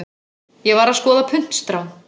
Ég var að skoða puntstrá.